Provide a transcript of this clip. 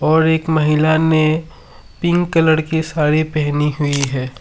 और एक महिला ने पिंक कलर की साड़ी पहनी हुई है।